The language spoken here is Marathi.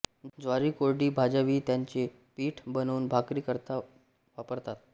ज्वारी कोरडी भाजावी त्याचे पीठ बनवून भाकरी करता वापरतात